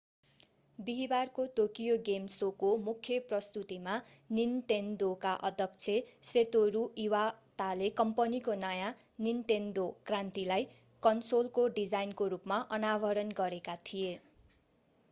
बिहीबारको Tokyo game शोको मुख्य प्रस्तुतीमा निन्तेन्दोका अध्यक्ष सतोरू इवाताले कम्पनीको नयाँ निन्तेन्दो क्रान्तिलाई कन्सोलको डिजाइनको रूपमा अनावरण गरेका थिए